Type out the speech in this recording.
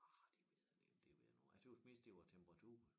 Ah det ved jeg nu ikke det ved jeg nu ikke jeg tøs mest det var æ temperatur